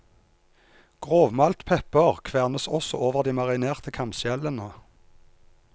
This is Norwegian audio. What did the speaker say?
Grovmalt pepper kvernes også over de marinerte kamskjellene.